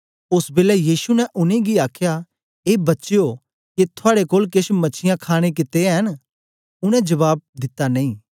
ओस बेलै यीशु ने उनेंगी आखया ए बच्चयो के थुआड़े कोल केछ मछीयां खाणे कित्ते ऐ न उनै जबाब दिता नेई